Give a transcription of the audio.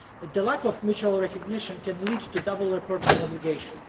The lack of mutual recognition can lead to a double reporting obligation.